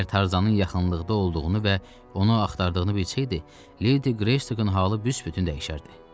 Əgər Tarzanın yaxınlıqda olduğunu və onu axtardığını bilsəydi, Ledi Greystokeın halı büsbütün dəyişərdi.